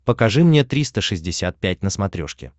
покажи мне триста шестьдесят пять на смотрешке